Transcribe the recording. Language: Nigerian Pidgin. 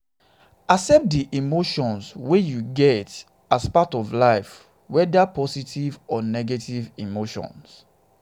accept di emotions emotions wey you get as part of life weda na positive or negative emotions